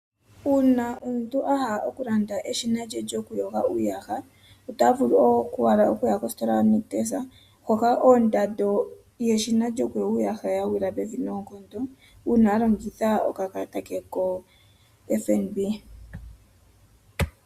Uuna omuntu a hala oku landa eshina lye lyokuyoga uuyaha, ota vulu owala oku ya kositola yoNictus hoka ondando yeshina lyokuyoga uuyaha ya gwila pevi noonkondo, uuna a longitha okakalata ke koFNB.